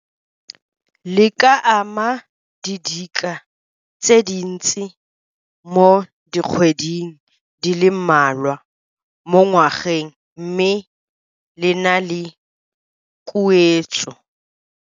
Le ka ama didika tse dintsi mo dikgweding di le mmalwa mo ngwageng mme le na le khuetso.